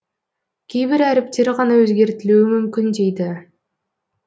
кейбір әріптер ғана өзгертілуі мүмкін дейді